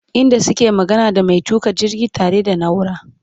inda suke magana da maintuka jirgi ta re da naura